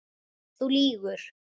Þú lýgur.